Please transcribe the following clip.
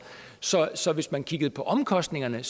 så hvis man kigger på omkostningerne